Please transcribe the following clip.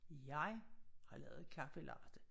Jeg har lavet kaffe latte